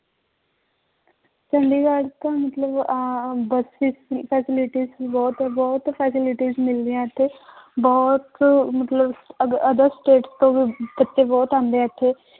ਚੰਡੀਗੜ੍ਹ ਤਾਂ ਮਤਲਬ ਆਹ ਬਸ ਵਿੱਚ ਵੀ facilities ਬਹੁਤ, ਬਹੁਤ facilities ਮਿਲਦੀਆਂ ਇੱਥੇ ਬਹੁਤ ਮਤਲਬ other state ਤੋਂ ਵੀ ਬੱਚੇ ਬਹੁਤ ਆਉਂਦੇ ਹੈ ਇੱਥੇ